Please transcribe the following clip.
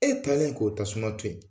E talen k'o tasuma to yen